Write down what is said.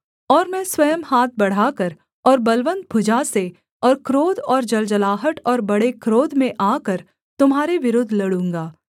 और मैं स्वयं हाथ बढ़ाकर और बलवन्त भुजा से और क्रोध और जलजलाहट और बड़े क्रोध में आकर तुम्हारे विरुद्ध लड़ूँगा